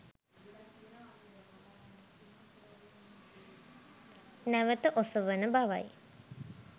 නැවත ඔසවන බවයි